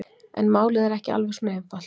En málið er ekki alveg svona einfalt.